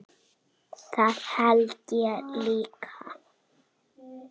Það held ég líka